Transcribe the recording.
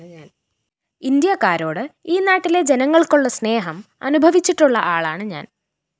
ഇന്ത്യക്കാരോട് ഈ നാട്ടിലെ ജനങ്ങള്‍ക്കുള്ള സ്‌നേഹം അനുഭവിച്ചിട്ടുള്ള ആളാണ് ഞാന്‍